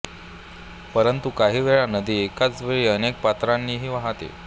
परंतु काही वेळा नदी एकाच वेळी अनेक पात्रांनीही वाहते